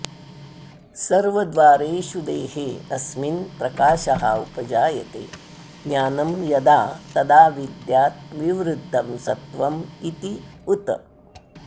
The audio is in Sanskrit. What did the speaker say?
सर्वद्वारेषु देहे अस्मिन् प्रकाशः उपजायते ज्ञानं यदा तदा विद्यात् विवृद्धं सत्त्वम् इति उत